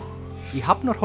í Hafnarhólma